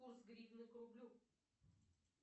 курс гривны к рублю